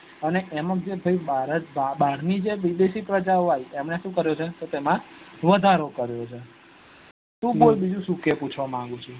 એને એમાં ભારત બાર ની જે વિદેશી પ્રજા આવી તમને શું કરું છે કે તેમાં વધારો કરો છે તું બોલ બીજું શું કે પૂછવા માંગે છુ